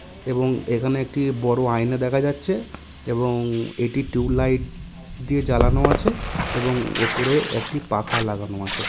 এবং এখানে একটি বড়ো আয়না দেখা যাচ্ছে এবং এটি টিউব লাইট- দিয়ে জ্বালানো আছে এবং ওপরে একটি পাখা লাগানো আছে।